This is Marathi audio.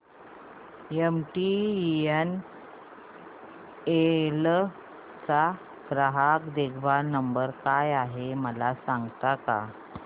एमटीएनएल चा ग्राहक देखभाल नंबर काय आहे मला सांगता का